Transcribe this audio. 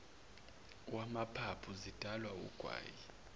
wamaphaphu zidalwa wugwayi